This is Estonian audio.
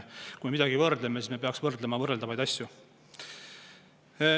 Kui me midagi võrdleme, siis me peaks võrdlema võrreldavaid asju.